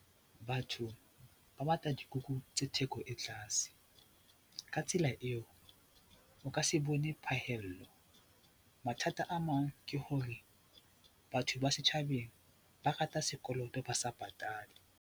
Batho ba batla dikuku tse theko e tlaase, ka tsela eo, o ka se bone phahello. Mathata a mang ke hore batho ba setjhabeng ba rata sekoloto, ba sa patale.